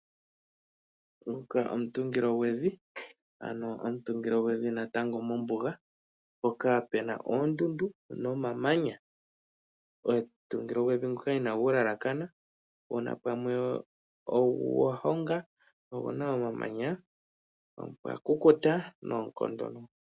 Omutungilo gwevi, omutungilo gwevi mombuga mpoka puna oondundu nomamanya. Omutungilo gwevi ina gu yelekana oguna pamwe ogwahonga na oguna omamanya po opwakukuta noonkondo.